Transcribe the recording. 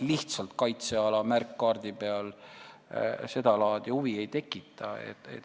Lihtsalt kaitseala märk kaardi peal seda laadi huvi ei tekita.